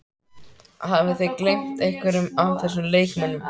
Hafið þið gleymt einhverjum af þessum leikmönnum?